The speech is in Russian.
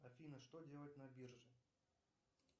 афина что делать на бирже